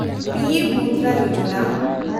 P M Mudra Yojana